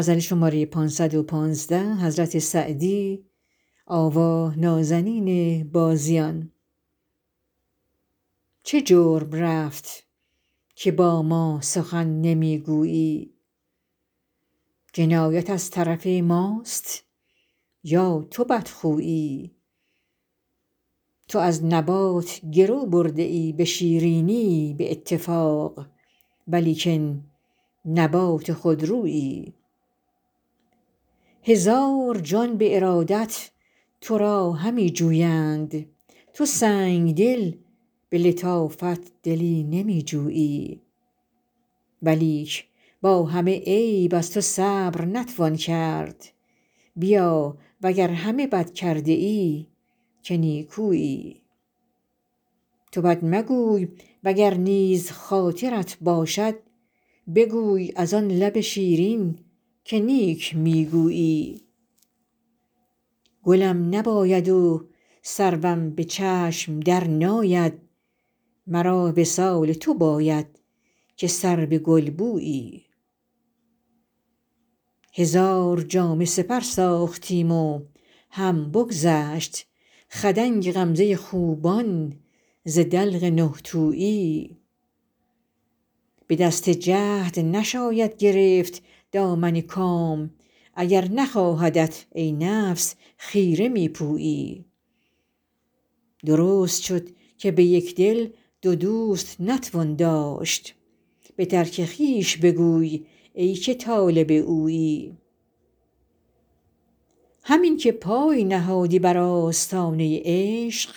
چه جرم رفت که با ما سخن نمی گویی جنایت از طرف ماست یا تو بدخویی تو از نبات گرو برده ای به شیرینی به اتفاق ولیکن نبات خودرویی هزار جان به ارادت تو را همی جویند تو سنگدل به لطافت دلی نمی جویی ولیک با همه عیب از تو صبر نتوان کرد بیا و گر همه بد کرده ای که نیکویی تو بد مگوی و گر نیز خاطرت باشد بگوی از آن لب شیرین که نیک می گویی گلم نباید و سروم به چشم درناید مرا وصال تو باید که سرو گلبویی هزار جامه سپر ساختیم و هم بگذشت خدنگ غمزه خوبان ز دلق نه تویی به دست جهد نشاید گرفت دامن کام اگر نخواهدت ای نفس خیره می پویی درست شد که به یک دل دو دوست نتوان داشت به ترک خویش بگوی ای که طالب اویی همین که پای نهادی بر آستانه عشق